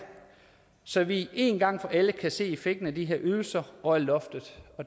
så vi en gang for alle kan se effekten af de her ydelser og af loftet